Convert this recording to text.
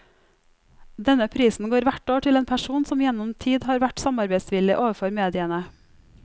Denne prisen går hvert år til en person som gjennom tid har vært samarbeidsvillig overfor mediene.